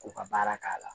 K'u ka baara k'a la